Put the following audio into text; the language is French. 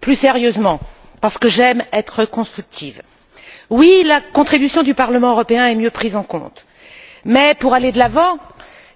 Plus sérieusement, parce que j'aime être constructive, oui, la contribution du Parlement européen est mieux prise en compte mais, pour aller de l'avant